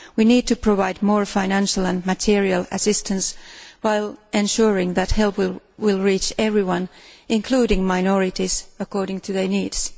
We need to provide more financial and material assistance while ensuring that help will reach everyone, including minorities, according to their needs.